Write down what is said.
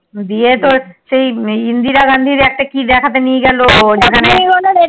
দিয়ে তো সেই ইন্দিরা গান্ধীর কি একটা দেখতে নিয়ে গিয়েছিলো